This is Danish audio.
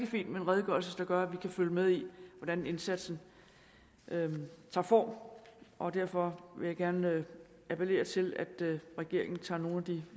fint med en redegørelse der gør at vi kan følge med i hvordan indsatsen tager form og derfor vil jeg gerne appellere til at regeringen tager nogle af de